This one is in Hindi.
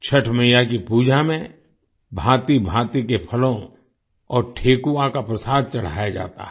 छठ मइया की पूजा में भांतिभांति के फलों और ठेकुआ का प्रसाद चढ़ाया जाता है